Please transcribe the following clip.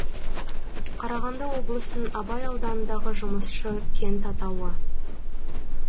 қарағанды облысын абай ауданындағы жұмысшы кент атауы